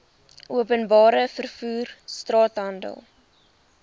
openbare vervoer straathandel